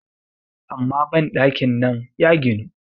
amma bandakin nan ya ginu